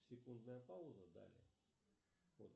секундная пауза далее вот